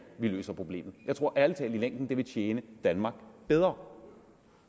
vi løser problemet jeg tror ærlig talt i længden vil tjene danmark bedre